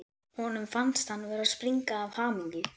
Honum fannst hann vera að springa af hamingju.